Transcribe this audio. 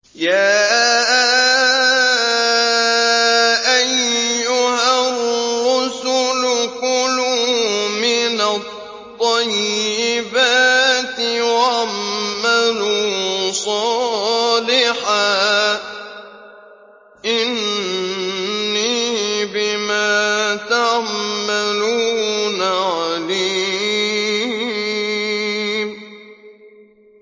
يَا أَيُّهَا الرُّسُلُ كُلُوا مِنَ الطَّيِّبَاتِ وَاعْمَلُوا صَالِحًا ۖ إِنِّي بِمَا تَعْمَلُونَ عَلِيمٌ